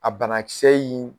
A bana kisɛ in